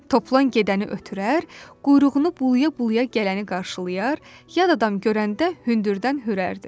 Toplan gedəni ötürər, quyruğunu bulaya-bulaya gələni qarşılayar, yad adam görəndə hündürdən hürərdi.